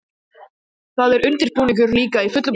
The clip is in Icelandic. Þar var undirbúningur líka í fullum gangi.